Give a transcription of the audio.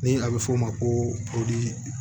Ni a bɛ f'o ma ko